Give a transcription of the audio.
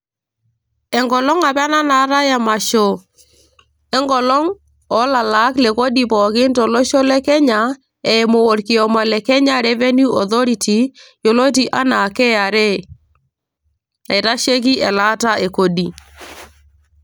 enkolong apa ena naatay emasho enkolong oolalaak le kodi pookin tolosho le kenya eimu orkioma le kenya revenue authority yioloti enaa KRA naitasheki elaata e kodi.